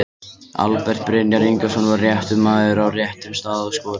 Albert Brynjar Ingason var réttur maður á réttum stað og skoraði.